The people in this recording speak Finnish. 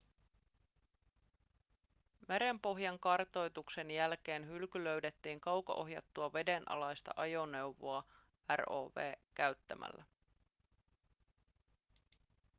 merenpohjan kartoituksen jälkeen hylky löydettiin kauko-ohjattua vedenalaista ajoneuvoa rov käyttämällä